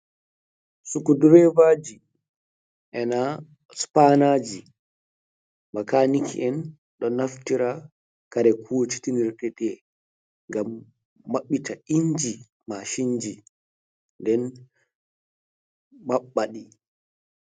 Sku Dre aji e nanta spannaji, makaniki en ɗo naftira kare huntinirɗe ngam maɓɓita inji macinji, nden maɓɓa ɗi.